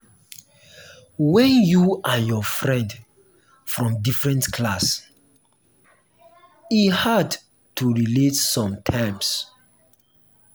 when you and your friend from different class e hard to relate sometimes.